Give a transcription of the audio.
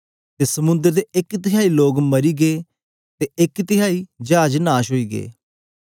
ते समुंद्र दे एक तिहाई लोग मरी गे ते एक तिहाई चाज नाश ओई गै